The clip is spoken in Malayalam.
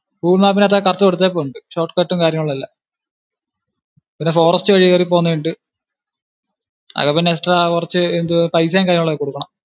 google map ഇനകത്തു correct കൊടുത്തിട്ടുണ്ട് short cut ഉം കാര്യങ്ങളും എല്ലാം പിന്നെ forest വഴി കേറി പോന്നെ ഉണ്ട്. അപ്പൊ പിന്നെ extra കുറച്ചു പൈസേം കൈയിലുള്ളത് കൊടുക്കണം